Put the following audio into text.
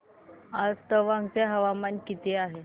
आज तवांग चे तापमान किती आहे